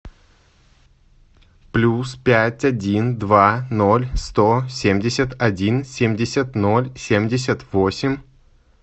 плюс пять один два ноль сто семьдесят один семьдесят ноль семьдесят восемь